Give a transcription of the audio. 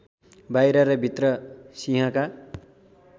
बाहिर र भित्र सिंहका